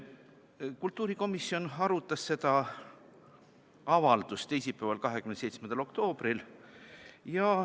Kultuurikomisjon arutas seda avaldust teisipäeval, 27. oktoobril.